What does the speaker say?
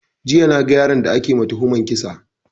Jiya na ga yaron da ake ma tuhuman kisa